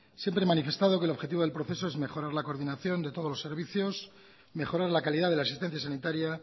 siempre he manifestado que el objetivo del proceso es mejorar la coordinación de todos los servicios mejorar la calidad de la asistencia sanitaria